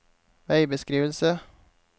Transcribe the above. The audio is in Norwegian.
veibeskrivelse